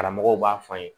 Karamɔgɔw b'a fɔ an ye